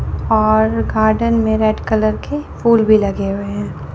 और गार्डन में red colour के फूल भी लगे हुए हैं।